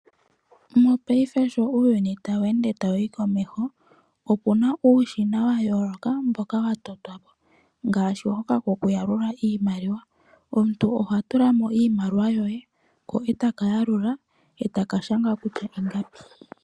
Mo paife sho uuyuni taweende tawu yi komesho , okuna uushina wayoloka mboka watotwapo ngaashi hoka ko kuyalula iimaliwa, omuntu oha tula mo iimaliwa yoye ko etaka yalula eta kashanga kutya.